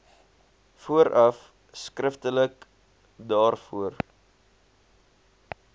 vooraf skriftelik daarvoor